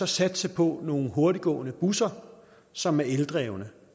satse på nogle hurtiggående busser som er eldrevne